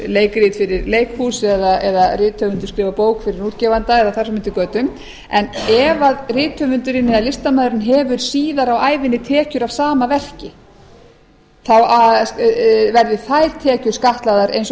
leikrit fyrir leikhús eða rithöfundur skrifar bók fyrir útgefanda eða þar fram eftir götum en ef að rithöfundurinn eða listamaðurinn hefur síðar á ævinni tekjur af sama verki þá verði þær tekjur skattlagðar eins og